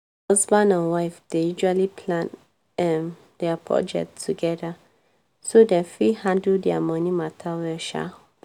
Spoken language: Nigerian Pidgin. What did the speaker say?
husband and wife dey ususally plan um dia budget togeda so dem fit handle dia moni mata well um